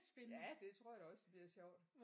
Ja det tror jeg da også bliver sjovt